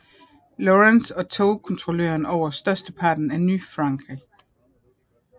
Lawrence og tog kontrollen over størsteparten af Ny Frankrig